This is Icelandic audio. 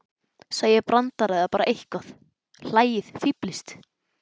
Segið brandara eða bara eitthvað, hlæið, fíflist.